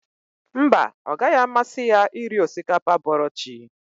Mba, ọ gaghị amasị ya iri osikapa bọrọ chi